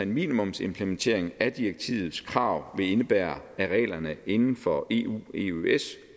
minimumsimplementering af direktivets krav vil indebære at reglerne inden for eueøs